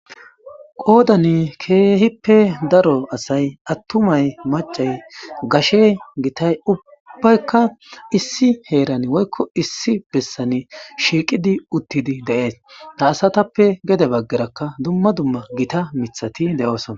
Qoodani keehippe daro asay attumay macay gashe gitay ubbaykka issi heeran woykko issi bessani shiiqidi uttidi deees ta asatappe gede baggerakka dumma dumma gita mithati de7oosona.